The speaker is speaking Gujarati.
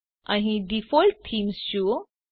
અહીં ડિફોલ્ટ થેમે જુઓ